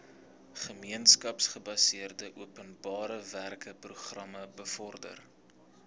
gemeenskapsgebaseerde openbarewerkeprogram bevorder